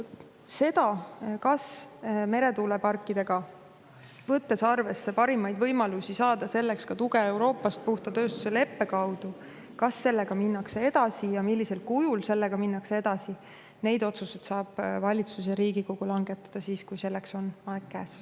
Seda, kas meretuuleparkidega, võttes arvesse parimaid võimalusi saada selleks tuge Euroopast puhta tööstuse leppe kaudu, minnakse edasi ja millisel kujul – neid otsuseid saab valitsus ja Riigikogu langetada siis, kui selleks on aeg käes.